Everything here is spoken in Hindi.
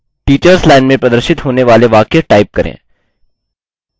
टिचर्स लाइन में प्रदर्शित होने वाले वाक्य टाइप करें